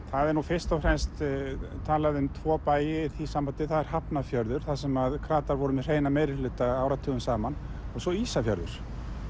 það er nú fyrst og fremst talað um tvo bæi í því sambandi það er Hafnarfjörður þar sem kratar voru með hreinan meirihluta áratugum saman og svo Ísafjörður